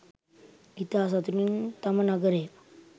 ඉතා සතුටින් තම නගරය